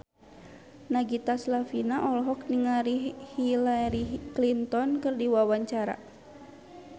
Nagita Slavina olohok ningali Hillary Clinton keur diwawancara